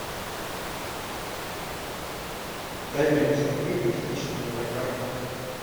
дай мне посмотреть туристическую программу